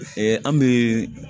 an bɛ